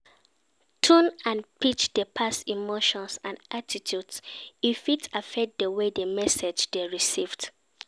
Tone and pitch dey pass emotions and attitudes and e fit affect di way di message dey received.